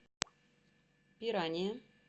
пирания